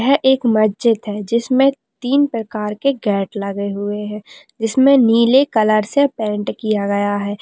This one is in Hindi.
यह एक मस्जिद है जिसमें तीन प्रकार के गेट लगे हुए हैं जिसमें नीले कलर से पेंट किया गया हैं।